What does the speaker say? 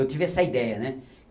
Eu tive essa ideia, né?